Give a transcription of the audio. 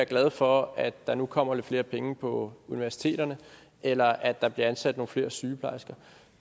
glade for at der nu kommer lidt flere penge på universiteterne eller at der bliver ansat nogle flere sygeplejersker